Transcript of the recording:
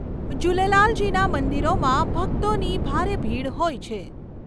જુલેલાલજીના મંદિરોમાં ભકતોની ભારે ભીડ હોય છે.